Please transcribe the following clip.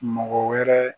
Mɔgɔ wɛrɛ